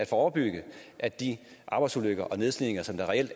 forebyggelse af de arbejdsulykker og nedslidninger som der reelt